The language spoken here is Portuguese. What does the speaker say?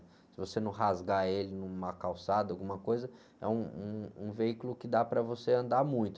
Se você não rasgar ele numa calçada, alguma coisa, é um, um, um veículo que dá para você andar muito.